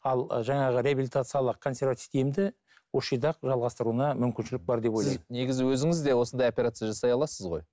ал жаңағы реабилитациялық консервативтік емді осы жерде ақ жалғастыруына мүмкіншілік бар деп ойлаймын сіз негізі өзіңіз де осындай операция жасай аласыз ғой